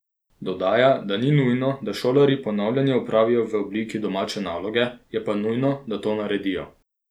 Dodaja, da ni nujno, da šolarji ponavljanje opravijo v obliki domače naloge, je pa nujno, da to naredijo.